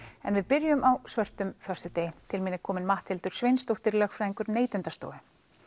en við byrjum á svörtum föstudegi til mín er komin Matthildur Sveinsdóttir lögfræðingur Neytendastofu